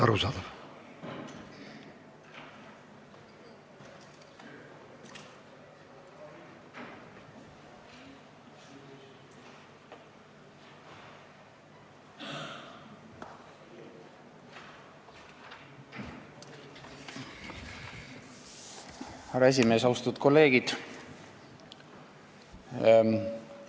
Austatud kolleegid!